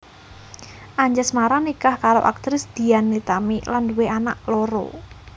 Anjasmara nikah karo aktris Dian Nitami lan nduwé anak loro